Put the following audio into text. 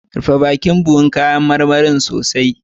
Rufe bakin buhun kayan marmarin sosai.